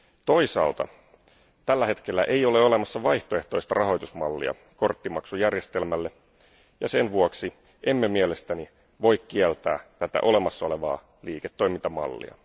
Toisaalta tällä hetkellä ei ole olemassa vaihtoehtoista rahoitusmallia korttimaksujärjestelmälle, ja sen vuoksi emme mielestäni voi kieltää tätä olemassa olevaa liiketoimintamallia.